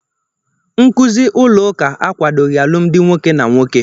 Nkụzi ụlọ ụka akwadoghị alụmdi nwoke na nwoke.